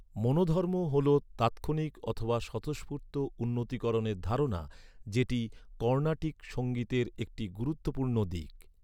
মনোধর্ম হ 'ল তাৎক্ষণিক অথবা স্বতঃস্ফূর্ত উন্নতিকরণের ধারণা, যেটি কর্ণাটিক সঙ্গীতের একটি গুরুত্বপূর্ণ দিক।